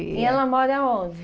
E ela mora onde?